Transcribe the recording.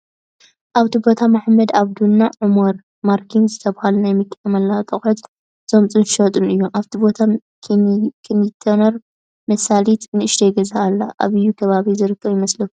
ኣብቲ ቦታ መሀመድ ኣበዱ እና ዑመር ማርከን ዝተብሃሉ ናይ መኪና መለዋወጢ ኣቅሑት ዘምፅኡን ዝሸጡን እዮም። ኣብቲ ቦታ ኪንቲነር መሳሊት ንእሽተይ ገዛ ኣሎ። ኣበየ ከባቢ ዝርከብ ይመስለኩም?